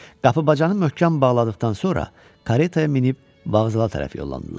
Qapı bacanı möhkəm bağladıqdan sonra kareta minib vağzala tərəf yollandılar.